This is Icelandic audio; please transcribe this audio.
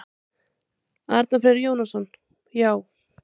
Arnar Freyr Jónsson: Já.